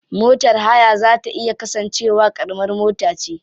Motar haya za ta iya kasance wa karamar mota ce.